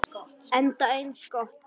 Enda eins gott.